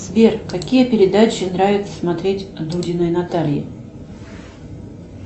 сбер какие передачи нравится смотреть дудиной наталье